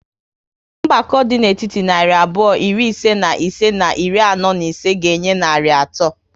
Mgbakọ dị n'etiti narị abụọ iri ise na ise na iri anọ na ise ga enye narị atọ